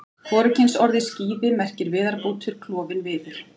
Hvorugkynsorðið skíði merkir viðarbútur, klofinn viður.